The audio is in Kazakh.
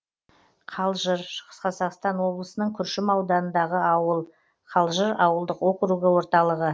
қалжыр шығыс қазақстан облысының күршім ауданындағы ауыл қалжыр ауылдық округі орталығы